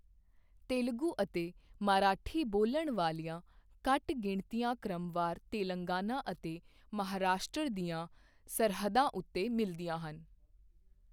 ਤੇਲਗੂ ਅਤੇ ਮਰਾਠੀ ਬੋਲਣ ਵਾਲੀਆਂ ਘੱਟ ਗਿਣਤੀਆਂ ਕ੍ਰਮਵਾਰ ਤੇਲੰਗਾਨਾ ਅਤੇ ਮਹਾਰਾਸ਼ਟਰ ਦੀਆਂ ਸਰਹੱਦਾਂ ਉੱਤੇ ਮਿਲਦੀਆਂ ਹਨ।